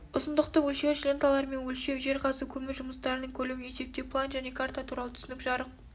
ұзындықты өлшеуіш ленталармен өлшеу жер қазу көму жұмыстарының көлемін есептеу план және карта туралы түсінік жарық